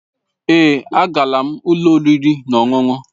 Èé, agaala m ụlọ oriri na ọṅụṅụ.